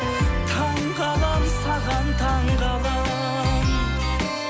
таңғаламын саған таңғаламын